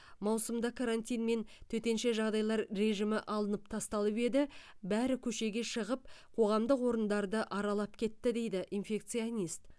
маусымда карантин мен төтенше жағыдайлар режимі алынып тасталып еді бәрі көшеге шығып қоғамдық орындарды аралап кетті дейді инфекционист